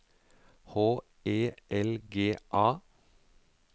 H E L G A